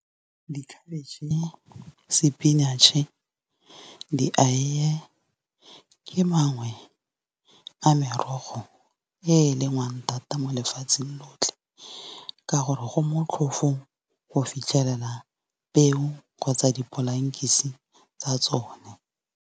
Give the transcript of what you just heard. Dikhabetšhe, spinach-e, dieiye, ke mangwe a merogo e lengwang thata mo lefatsheng lotlhe. Ka gore go motlhofo go fitlhela peo kgotsa dipolankise tsa tsone.